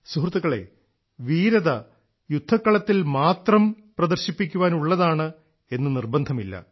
സുഹൃത്തുക്കളെ വീരത യുദ്ധക്കളത്തിൽ മാത്രം പ്രദർശിപ്പിക്കാൻ ഉള്ളതാണ് എന്ന് നിർബന്ധമില്ല